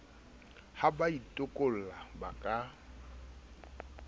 ha ba itekola ba ka